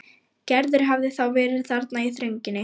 Gerður hafði þá verið þarna í þrönginni.